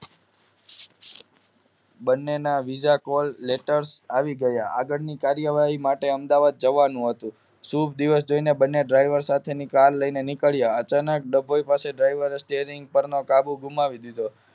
બંનેના visa Call letter આવી ગયા આગળની કાર્યવાહી માટે અમદાવાદ જવાનું હતું શુભ દિવસ જોઇને બંને ડ્રાઇવર સાથે ની કાર લઈને નીકળ્યા અચાનક ડભોઇ પાસે ડ્રાઇવરે સ્ટેરીંગ પર નો કાબુ ગુમાવી દીધો